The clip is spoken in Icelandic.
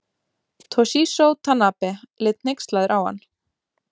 Toshizo Tanabe leit hneykslaður á hann.